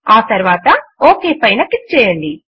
ఆ తరువాత ఒక్ పైన క్లిక్ చేయండి